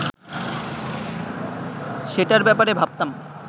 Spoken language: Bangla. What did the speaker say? সেটার ব্যাপারে ভাবতাম